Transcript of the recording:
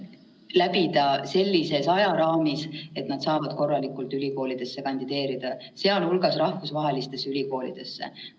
See on oluline, et noored saaksid need eksamid siiski läbida sellises ajaraamis, et nad saavad ülikoolidesse korralikult kandideerida, sh rahvusvahelistesse ülikoolidesse.